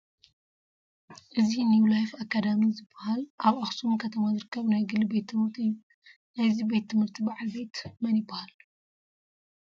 እዚ ኒው ላይፍ ኣካዳሚ ዝበሃል ኣብ ኣኽሱም ከተማ ዝርከብ ናይ ግሊ ቤት ትምህርቲ እዩ፡፡ ናይዚ ቤት ትምህርቲ በዓል ቤት መን ይበሃል?